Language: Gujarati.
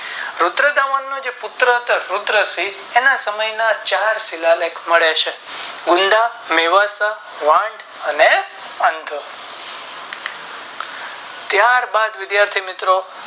રુદ્રતા મન નો જે પુત્ર હતો રુદ્રસિંહ એના સમય ના ચાર શિલાલેખ મળે છે મૂંદા મેવાસા વાંદ અને અંધો ત્યાર બાદ વિધાથી મિત્રો